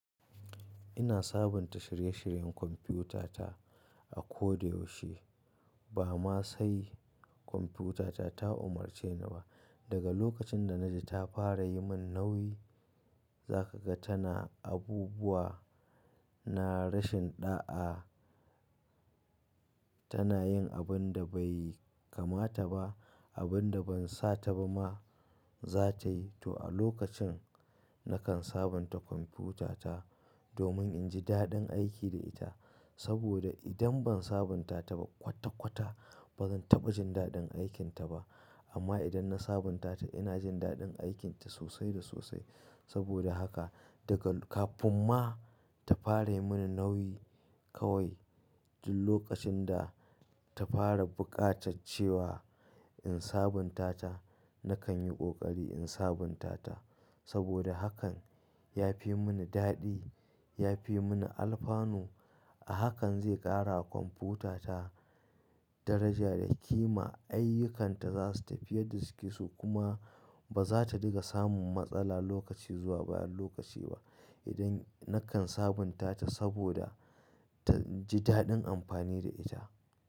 Ina sabunta shirye-shiryen kwamfutata a ko da yaushe. Ba ma sai kwamfutata ta umarce ni ba. Daga lokacin da na ji ta fara yi min nauyi, za ka ga tana abubuwa, na rashin ɗa'a, tana yin abin da bai kamata ba, abin da ban sa ta ba ma za ta yi. To a lokacin, nakan sabunta kwamfutata domin in ji daɗin aiki da ita. Saboda idan ban sabunta ta ba kwata-kwata, ba zan taɓa jin daɗin aikinta ba. Amma idan na sabunta ta, ina jin daɗin aikinta sosai da sosai. Saboda haka daga kafin ma ta fara yi mini nauyi kawai, duk lokacin da ta fara buƙatar cewa in sabunta ta, nakan yi ƙoƙari in sabunta ta. Saboda hakan ya fi yi mini daɗi, ya fi yi mini alfanu. A hakan zai ƙara a kwamfutata daraja da kima, ayyukanta za su tafi yadda suke so kuma ba za ta dinga samun matsala lokaci zuwa bayan lokaci nakan sabunta ta saboda na ji daɗin amfani da ita.